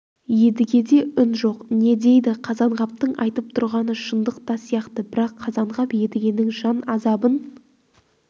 едігеде үн жоқ не дейді қазанғаптың айтып тұрғаны шындық та сияқты бірақ қазанғап едігенің жан азабын